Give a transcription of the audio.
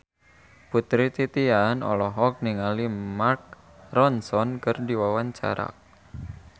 Putri Titian olohok ningali Mark Ronson keur diwawancara